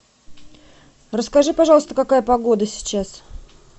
расскажи пожалуйста какая погода сейчас